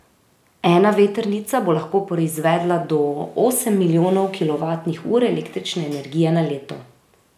Ena vetrnica bo lahko proizvedla do osem milijonov kilovatnih ur električne energije na leto.